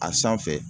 A sanfɛ